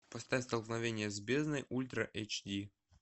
поставь столкновение с бездной ультра эйч ди